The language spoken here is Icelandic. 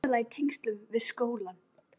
Þetta var aðallega í tengslum við skólann.